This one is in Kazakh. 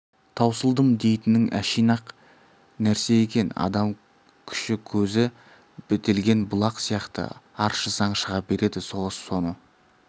таусылдым дейтінің әшиін-ақ нәрсе екен адам күші көзі бітелген бұлақ сияқты аршысаң шыға береді соғыс соны